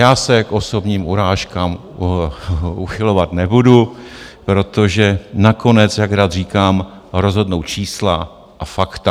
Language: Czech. Já se k osobním urážkám uchylovat nebudu, protože nakonec, jak rád říkám, rozhodnou čísla a fakta.